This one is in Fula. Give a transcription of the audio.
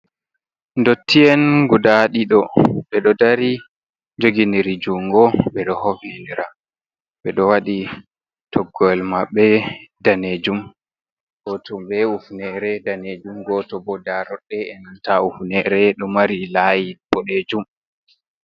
Ndottien gudaa ɗiɗo, ɓe ɗo dari jogindiri jungo ɓe ɗo hofnindira, ɓe ɗo waɗi toggoyel maɓɓe daneejum, gooto be hufnere daneejum, gooto bo daaroɗɗe e nanta hufinere ɗo mari laayi boɗeejum.